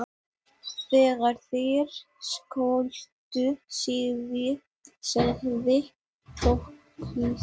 Þegar þeir skildu sagði Þórkell